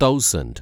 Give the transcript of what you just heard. thousand